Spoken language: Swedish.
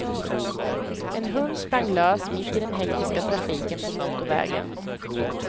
En hund sprang lös mitt i den hektiska trafiken på motorvägen.